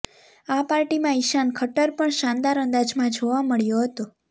આ પાર્ટીમાં ઇશાન ખટ્ટર પણ શાનદાર અંદાજમાં જોવા મળ્યો હતો